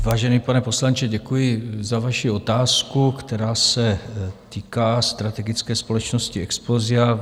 Vážený pane poslanče, děkuji za vaši otázku, která se týká strategické společnosti Explosia.